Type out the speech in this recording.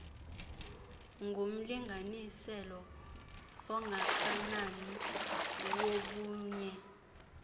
ngumlinganiselo ongakanani wobunye